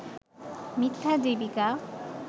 মিথ্যা জীবিকা